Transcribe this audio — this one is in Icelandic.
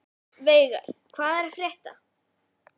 Veigar, hvað er að frétta?